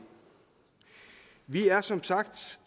vi er som sagt